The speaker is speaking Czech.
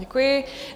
Děkuji.